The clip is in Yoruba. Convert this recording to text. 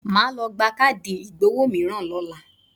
Màá lọ gba káàdì ìgbowó mìíràn lọ́la.